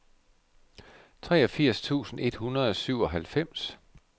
treogfirs tusind et hundrede og syvoghalvfems